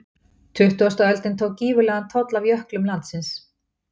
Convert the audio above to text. Tuttugasta öldin tók gífurlegan toll af jöklum landsins.